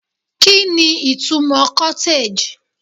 kini itumo cottage